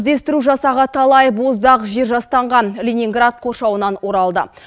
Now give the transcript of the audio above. іздестіру жасағы талай боздақ жер жастанған ленинград қоршауынан оралды